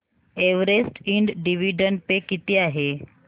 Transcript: Everest Ind dividend pay किती आहे